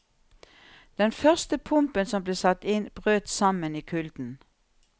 Den første pumpen som ble satt inn, brøt sammen i kulden.